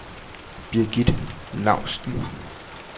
Birgith Lausten